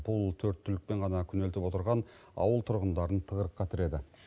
бұл төрт түлікпен ғана күнелтіп отырған ауыл тұрғындарын тығырыққа тіреді